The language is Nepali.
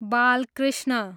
बालकृष्ण